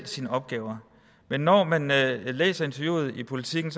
sine opgaver men når man læser interviewet i politiken